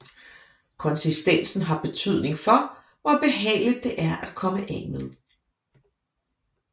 Konsistensen har betydning for hvor behageligt det er at komme af med